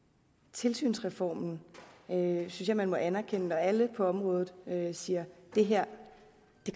tilsynsreformen synes jeg man må anerkende og alle på området siger det her